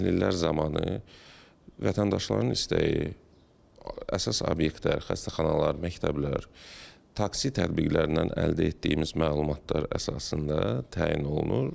Təhlillər zamanı vətəndaşların istəyi, əsas obyektlər, xəstəxanalar, məktəblər, taksi tətbiqlərindən əldə etdiyimiz məlumatlar əsasında təyin olunur.